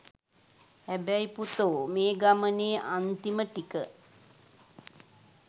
හැබැයි පුතෝ මේ ගමනේ අන්තිම ටික